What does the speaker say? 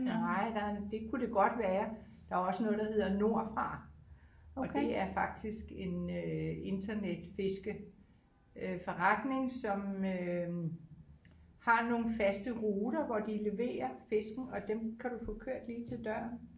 Nej der det kunne det godt være der er også noget der hedder nordfra og det er faktisk en øh internet fiske øh forretning som øh har nogle faste ruter hvor de leverer fisken og dem kan du få kørt lige til døren